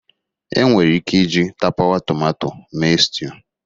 Enwere ike iji tapawa tomato mee stew